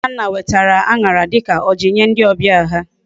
Nnanna wetara añara dika oji Nye ndi obia ha